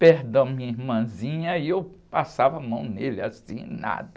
Perdão, minha irmãzinha, e eu passava a mão nele assim, e nada.